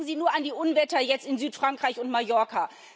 Denken Sie nur an die Unwetter jetzt in Südfrankreich und Mallorca.